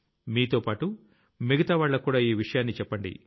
మీతోపాటు మిగతావాళ్లకి కూడా ఈ విషయాన్ని చెప్పండి